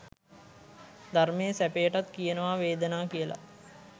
ධර්මයේ සැපයටත් කියනවා වේදනා කියලා.